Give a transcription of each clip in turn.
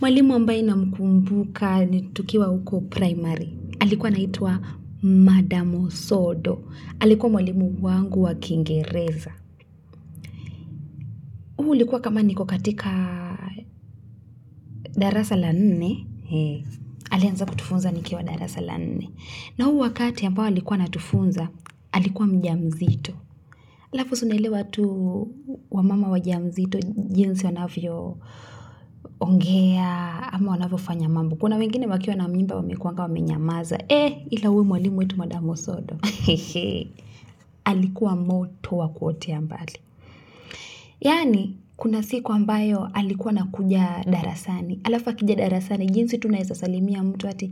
Mwalimu ambaye namkumbuka tukiwa huko primari alikuwa anaitwa madam Osodo alikuwa mwalimu wangu wa kingereza huu likuwa kama niko katika darasa la nne alianza kutufunza nikiw darasa la nne na huu wakati ambao alikuwa anatufunza alikuwa mjamzito halafu si una elewa tu wamama wajamzito jinsi wanavyoongea ama wanavyofanya mambo kuna wengine wakiwa na mimba wamekuwanga wamenyamaza ila huyu mwalimu wetu madamu Osodo alikuwa moto wa kuotea mbali yaani kuna siku ambayo alikuwa anakuja darasani halafu akija darasani jinsi tu unawezasalimia mtu ati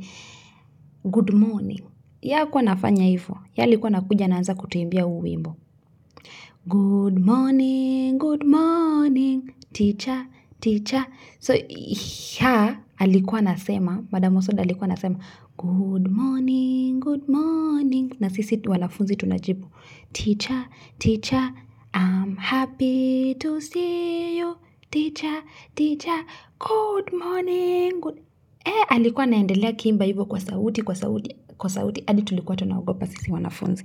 good morning yeye hakuwa anafanya hivyo yeye alikuwa anakuja anaanza kutuimbia huu wimbo good morning good morning teacher teacher so ha alikuwa anasema madamu Osodo alikuwa anasema good morning good morning na sisi wanafunzi tunajibu Teacher, teacher, I'm happy to see you. Teacher teacher good morning alikuwa anaendelea akiimba hivyo kwa sauti kwa sauti kwa sauti hadi tulikuwa tunaogopa sisi wanafunzi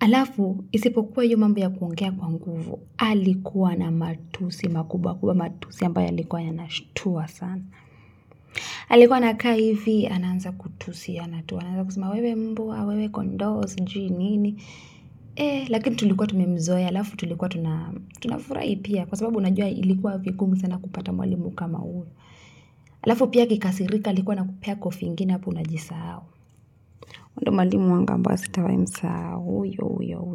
halafu isipokuwa hiyo mambo ya kuongea kwa nguvu alikuwa na matusi makubwa kubwa matusi ambayo yalikuwa yanashtua sana alikuwa anakaa hivi anaanza kutusiana tu anaanza kusema wewe mbwa wewe kondoo sijui nini lakini tulikuwa tumemzoea halafu tulikuwa tunafurahi pia kwa sababu unajua ilikuwa vigumu sana kupata mwalimu kama huyo halafu pia akikasirika alikuwa anakupea kofi ingine hapo unajisahau huyo ndio mwalimu wangu ambaye sitawahi msahau huyo huyo huyo.